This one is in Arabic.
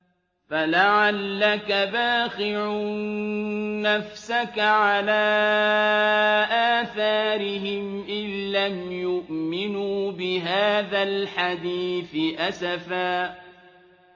فَلَعَلَّكَ بَاخِعٌ نَّفْسَكَ عَلَىٰ آثَارِهِمْ إِن لَّمْ يُؤْمِنُوا بِهَٰذَا الْحَدِيثِ أَسَفًا